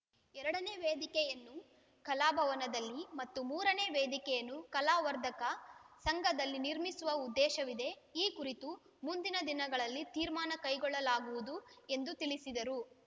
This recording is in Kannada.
ಎರಡನೇ ವೇದಿಕೆಯನ್ನು ಕಲಾಭವನದಲ್ಲಿ ಮತ್ತು ಮೂರನೇ ವೇದಿಕೆಯನ್ನು ಕಲಾವರ್ಧಕ ಸಂಘದಲ್ಲಿ ನಿರ್ಮಿಸುವ ಉದ್ದೇಶವಿದೆ ಈ ಕುರಿತು ಮುಂದಿನ ದಿನಗಳಲ್ಲಿ ತೀರ್ಮಾನ ಕೈಗೊಳ್ಳಲಾಗುವುದು ಎಂದು ತಿಳಿಸಿದರು